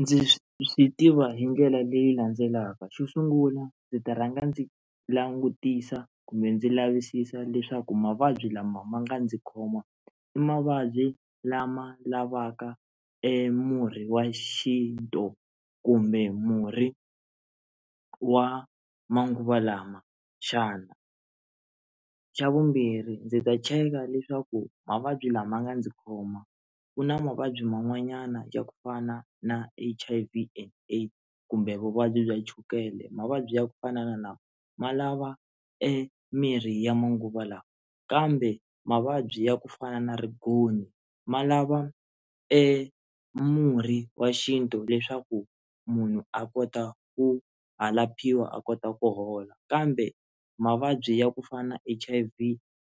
Ndzi swi tiva hi ndlela leyi landzelaka xo sungula ndzi ta rhanga ndzi langutisa kumbe ndzi lavisisa leswaku mavabyi lama ma nga ndzi khoma i mavabyi lama lavaka emurhi wa xintu kumbe murhi wa manguva lama xana, xa vumbirhi ndzi ta cheka leswaku mavabyi lama nga ndzi khoma ku na mavabyi man'wanyana ya ku fana na H_I_V and AIDS kumbe vuvabyi bya chukele mavabyi ya ku fana na na lama ya lava emirhi ya manguva lawa kambe mavabyi ya ku fana na righoni ma lava e murhi wa xintu leswaku munhu a kota ku a laphiwa a kota ku hola kambe mavabyi ya ku fana H_I_V